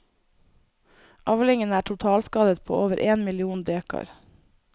Avlingen er totalskadet på over én million dekar.